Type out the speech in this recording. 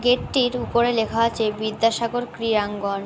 গেটটির উপরে লেখা আছে বিদ্যাসাগর ক্রীড়াঙ্গন।